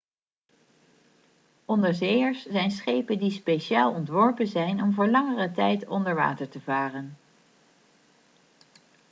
onderzeeërs zijn schepen die speciaal ontworpen zijn om voor langere tijd onder water te varen